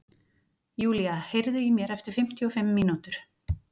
Julia, heyrðu í mér eftir fimmtíu og fimm mínútur.